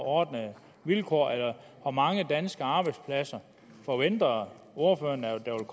ordnede vilkår eller hvor mange danske arbejdspladser forventer ordføreren at